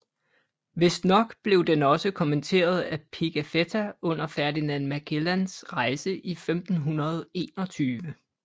Vistnok blev den også kommenteret af Pigafetta under Ferdinand Magellans rejse i 1521